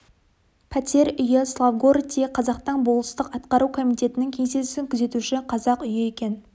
пәтер үйі славгородтегі қазақтың болыстық атқару комитетінің кеңсесін күзетуші қазақ үйі екен